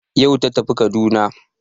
Yau ta tafi Kaduna